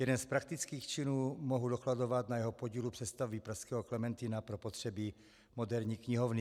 Jeden z praktických činů mohu dokladovat na jeho podílu přestavby pražského Klementina pro potřeby moderní knihovny.